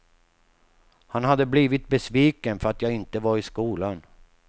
Han hade blivit besviken för att jag inte var i skolan.